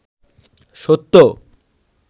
সত্য